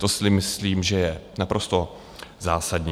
To si myslím, že je naprosto zásadní.